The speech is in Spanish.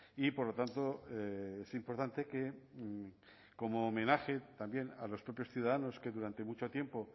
y por lo tanto es importante que como homenaje también a los propios ciudadanos que durante mucho tiempo